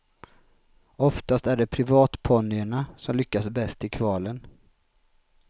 Oftast är det privatponnyerna som lyckas bäst i kvalen.